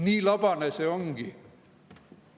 " Nii labane see ongi.